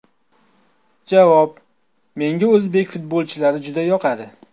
Javob: Menga o‘zbek futbolchilari juda yoqadi.